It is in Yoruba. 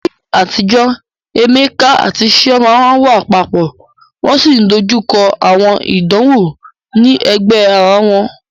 Ní àtijọ́, Emeka àti Chioma máa ń wà papọ̀, wọ́n sì ń dojú kọ àwọn ìdánwò ní ẹ̀gbẹ́ ara wọn